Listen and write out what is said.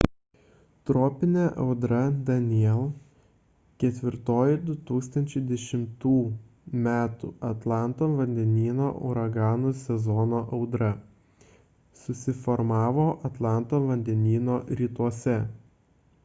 tropinė audra danielle ketvirtoji 2010 m atlanto vandenyno uraganų sezono audra susiformavo atlanto vandenyno rytuose